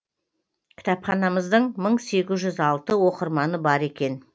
кітапханамыздың мың сегіз жүз алты оқырманы бар екен